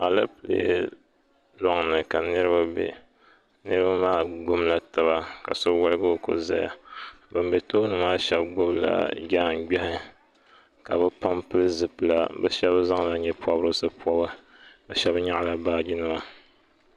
Alapilee loŋni ka niriba be niriba maa gbibila taba ka so woligi o ko zaya ban be tooni maa sheba gbibila jaangbehi ka bɛ pam pili zipila bɛ pam zaŋla nyɛ'pobrisi pobi ka sheba nyaɣila baaji nima.